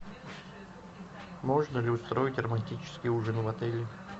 можно ли устроить романтический ужин в отеле